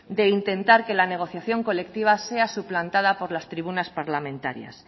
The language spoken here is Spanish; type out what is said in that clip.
de intentar que la negociación colectiva sea suplantada por las tribunas parlamentarias